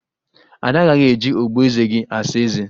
Ada agaghị eji ogboeze gị asa eze